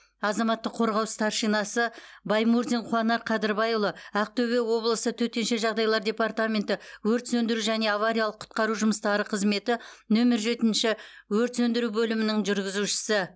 азаматтық қорғау старшинасы баймурзин қуанар қадырбайұлы ақтөбе облысы төтенше жағдайлар департаменті өрт сөндіру және авариялық құтқару жұмыстары қызметі нөмір жетінші өрт сөндіру бөлімінің жүргізушісі